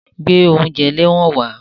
Gbé oúnjẹ ẹlẹ́wọ̀n wá!